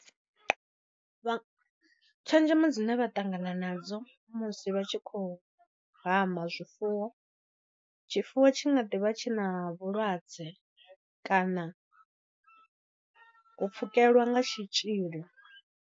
Tshenzhemo dzine vha ṱangana nadzo musi vha tshi khou hama zwifuwo. Tshifuwo tshi nga ḓi vha tshina vhulwadze kana u pfhukelwa nga tshitzhili.